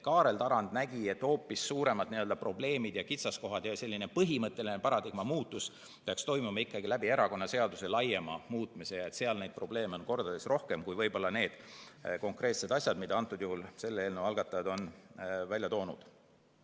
Kaarel Tarand näeb, et hoopis suuremad probleemid ja kitsaskohad ja põhimõtteline paradigma muutus peaks toimuma ikkagi erakonnaseaduse laiema muutmisega, sest seal on neid probleeme mitu korda rohkem kui võib-olla need konkreetsed asjad, mida selle eelnõu algatajad on välja toonud.